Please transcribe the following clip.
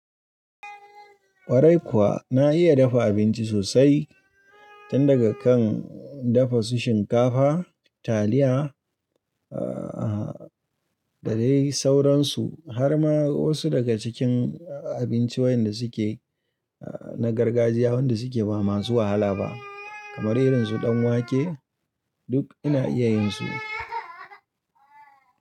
Kwarai kuwa na iya dafa abinci sosai, tun daga kan dafa su shinkafa, taliya, eh, da dai sauransu, har ma wasu daga cikin abincin wayanda suke na gargajiya wanda suke ba masu wahala ba, kamar irin su danwake duk ina iya yin su.